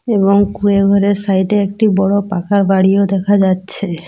এবং কুঁড়ে ঘরের সাইড -এ একটি বড় পাকা বাড়িও দেখা যাচ্ছে।